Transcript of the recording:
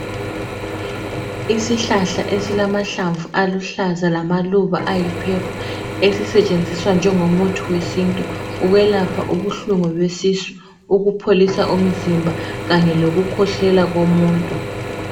Isihlahla esilamahlamvu aluhlaza lamaluba ayi purple esisetshenziswa njengomuthi wesintu ukwelapha ubuhlungu besisu, ukupholisa umzimba kanye lokukhwehlela komuntu.